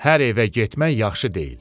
Hər evə getmək yaxşı deyil.